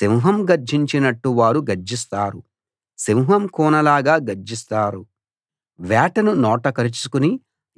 సింహం గర్జించినట్టు వారు గర్జిస్తారు సింహం కూనలాగా గర్జిస్తారు వేటను నోట కరుచుకుని